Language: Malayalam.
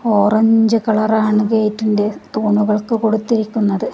ഓറഞ്ചു കളർ ആണ് ഗേറ്റിൻ്റെ തൂണുകൾക്ക് കൊടുത്തിരിക്കുന്നത്.